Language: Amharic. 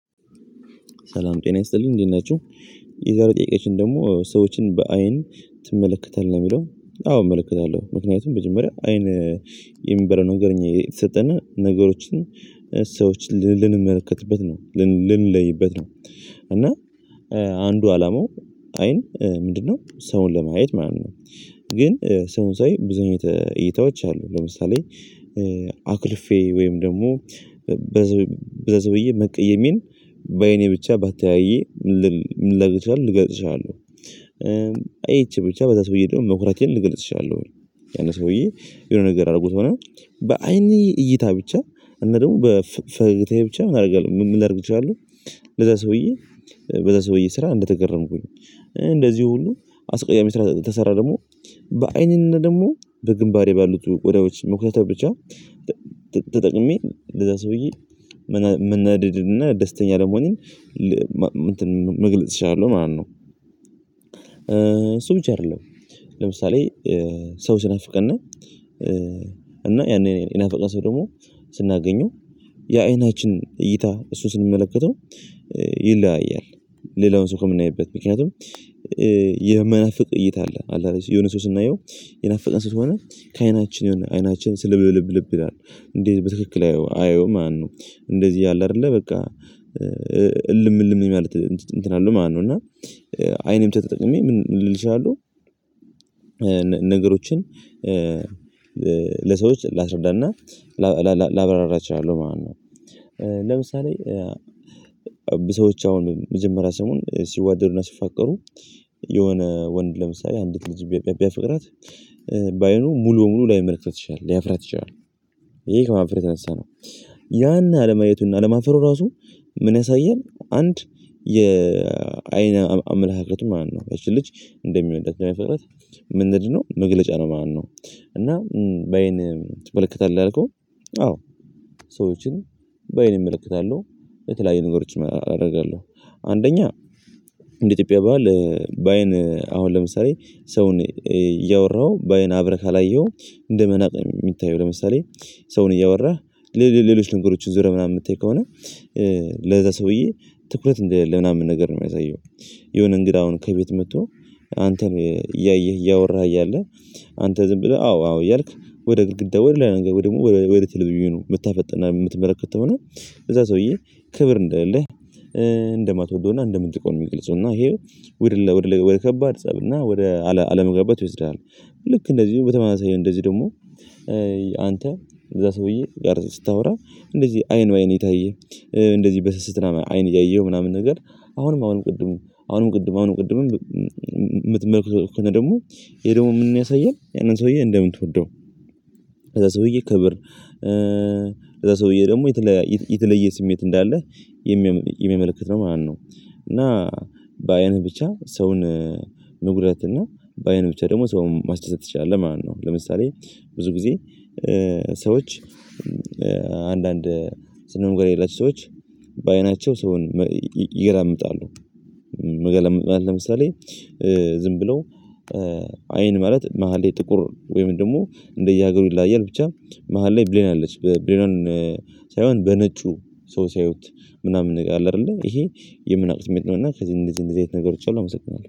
ሰላም ጤና ይስጥልኝ እንዴት ናችሁ። የዛሬው ጥያቄያችን ደግሞ ሰዎችን በአይን ትመለከታለህ ነው ሚለው? አዎ እመለከታለሁ ምክንያቱም መጀመሪያ አይን የሚባለው ነገር እኛ የተሰጠን ነገሮችን ሰዎችን ል ልንመለከትበት ነው ልን ልንለይበት ነው። እና አንዱ አላማው አይን ምንድነው ሰውን ለማየት ማለት ነው። ግን ሰውን ሳይ ብዙ አይነት እይታዎች አሉ ለምሳሌ አኩርፌ ወይም ደግሞ በሰውዬ መቀየሜን በአይኔ ብቻ ባተያየ ልገልጽ እችላለሁ። አይቼ ብቻ በዛ ሰውዬ ደግሞ መኩራቴን ልገልፅ እችላለሁ። ያን ሰውዬ የሆነ ነገር አድርጎት ሆነ በአይኔ እይታ ብቻ እና ደግሞ በፈገታዬ ብቻ ምን አደርጋለሁ ምን ላድርግ እችላለሁ። በሰውዬ መቀየሜን በአይኔ ብቻ ባታየው ምን ልገልጽ እችላለሁ። አይቼ ብቻ በዛ ሰውዬ ደግሞ መኩራቴን እገልጽ እችላሻለሁ ያን ሰውዬ የሆነ ነገር አድርጎት ሆነ በአይኔ እይታ ብቻ እና ደግሞ በፈገታዬ ብቻ ምን አደርጋለሁ ምን ላድርግ እችላለሁ። ለዛ ሰውዬ ለዛ ሰውዬ ስራ እንደተገረምኩኝ እንደዚህ ሁሉ አስቀያሚ ስራ ከሰራ። ደግሞ ሰው ስናፍቀን እና ያንን የናፈቀን ሰው ደግሞ ስናገኘው የአይናችን እይታ እሱ ስንመለከተው ይለያያል። ሌላውን ሰው ከምናይበት ምክንያቱም የመናፈቅ እይታ አለ አለ የሆነ ሰው ስናየው የናፈቀን ስትሆን ከአይናችን የሆነ አይናችን ስልብልብ ይላል እንዴት በትክክል አያየውም ማለት ነው። እንደዚህ ያለ አደለ በቃ እልም እልም ማለት እንትን አለው ማለት ነው። እና አይንም ተጠቅሜ ምን ልል እችላለሁ። ነገሮችን ለሰዎች ላስረዳና ላብራራ እችላለሁ ማለት ነው። ለምሳሌ በሰዎች አሁን የመጀመሪያ ሰሙን ሲዋደዱና ሲፋቀሩ የሆነ ወንድ ለምሳሌ አንዲት ልጅ ቢያፈቅራት በአይኑ ሙሉ ሙሉ ላይመለከት ይሻላል ሊያፍራት ይቻላል። ይሄ ከህፍረት የተነሳ ነው። ያን አለማየቱን አለማፍረው ራሱ። ምን ያሳየን አንድ የአይን አምላካት ማነው? ልጅ እንደሚለው እንደተመለከተ ምንድ ነው መግለጫ ነው ማለት ነው። እና በአይን ትመለከታለህ ያልከው? አዎ ሰዎችን በአይን እመለከታለሁ። በተለያዩ ንጉሮች አደርጋለሁ አንደኛ እንደ ኢትዮጵያ በዓል አሁን ለምሳሌ ሰውን እያወራህ በአይን አብረህ ካላየሀው እንደመናቅ የሚታየው ለምሳሌ ሰውን እያወራህ ሌሎች ነገሮችን ዞረ ምናምን የምታይ ከሆነ ለዛ ሰውዬ ትኩረት እንደ ሌለህ ምናምን ነገር ነው የሚያሳየው። የሆነ እንግዳ አሁን ከቤት መጥቶ አንተን እያየህ እያወራህ እያለ አንተ ዝም ብለህ አዎ አዎ እያልክ ወደ ግድግዳ ወደ ላይ ነገር ወደ ግድግዳ ተሌቪዥን የምታፈጥ የምትመለከተው ከሆነ ለዛ ሰውዬ ክብር እንደሌለህ እንደማትወደውና እንደምትንቀው ነው የሚግልጸው እና ይሄ ወደ ፀብና ወደ አለመግባባት ይወስድሃል። ልክ እንደዚህ በተማሳይ እንደዚህ ደግሞ አንተ ለዛ ሰውዬ ያርጽ ስታወራ እንደዚህ አይን ለአይን የታየ እንደዚህ በስስት አይን እያየሁ ምናምን ነገር አሁንም አሁንም ቅድም አሁንም ቅድም አሁንም ቅድምም የምትመለከተው ከነ ደግሞ ይሄ ደግሞ የምንያሳየን ያንን ሰውዬ እንደምትወደው። ለዛ ሰውዬ ክብር ለዛ ሰውዬ ደግሞ የተለየ ስሜት እንዳለህ የሚመለከት ነው ማለት ነው። እና በአይንህ ብቻ ሰውን መጉዳት እና በአይን ብቻ ደግሞ ሰውን ማስደሰት ትችላል ማለት ነው። ለምሳሌ ብዙ ጊዜ አንዳንድ ስነምግባር የሌላቸው ሰዎች በአይናቸው ሰውን ይገላምጣሉ። ለምሳሌ ዝም ብለው አይን ማለት መሃል ጥቁር ወይም ደግሞ እንደየሀገሩ ይላያል ብቻ መሃል ላይ ብሌን አለች በብሌኗን ሳይሆን በነጩ ሰው ሲያዩት ምናምን እንደምንለው ኣለ አደለ ይሄ የምንለው ስሜት ነው። እና ከዚህ እንደዚህ እንደዚህ አይነት ነገሮች አሉ አመሰግናለሁ